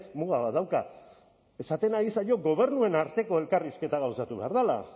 muga bat dauka esaten ari zaio gobernuen arteko elkarrizketa gauzatu behar dela